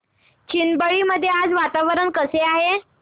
चिंबळी मध्ये आज वातावरण कसे आहे